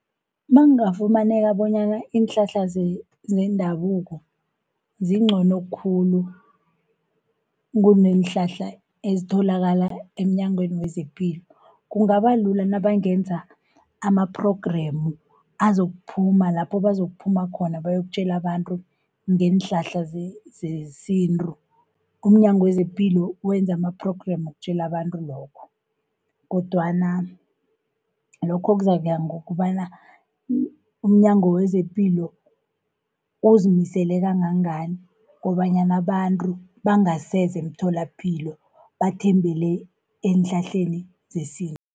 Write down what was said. Nakungafumaneka bonyana iinhlahla zendabuko zingcono khulu, kuneenhlahla ezitholakala emNyangweni wezePilo. Kungabalula nabangenza ama-program azokuphuma lapho bazukuphuma khona bayokutjela abantu ngeenhlahla zesintu. UmNyango wezePilo wenza ama-program wokutjela abantu lokho, kodwana lokho kuzakuya ngokobana umNyango wezePilo uzimisele kangangani, kobanyana abantu bangaseza emtholapilo bathembele eenhlahleni zesintu.